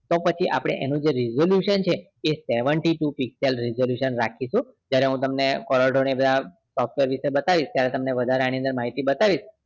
તો પછી આપણે જેએનું resolution એ seventy two pixel resolution રાખીશું જયારે હું તમને chronograph proper રીતે બતાવીશ અને એમાં તમને વધારે એની અંદર માહિતી બતાવીશ